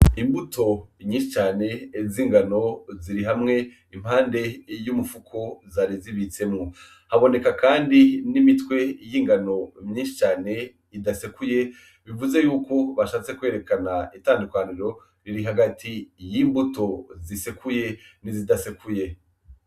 Imbuto nyinshi cane z’ingano ziri hamwe impande y’umufuko zari zibitsemwo. Haboneka kandi n’ imitwe y’ingano myinshi cane idasekuye bivuze yuko bashatse kwerekana itandukaniro riri hagati y’imbuto zisekuye n’izidasekuye.